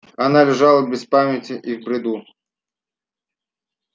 она лежала без памяти и в бреду